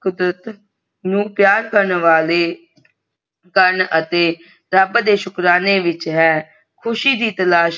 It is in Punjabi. ਕੁਦਰਤ ਨੂੰ ਪਿਆਰ ਕਰਨੇ ਵਾਲੇ ਸਨ ਅਤੇ ਰੱਬ ਦੇਹ ਸ਼ੁਕਰਾਨਾ ਵੇਗ ਹੈ ਖੁਸ਼ੀ ਦੀ ਤਲਾਸ਼